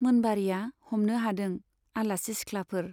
मोनबारीया हमनो हादों, आलासि सिख्लाफोर